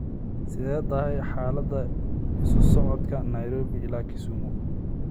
sidee tahay xaalada isu socodka nairobi ilaa kisumu?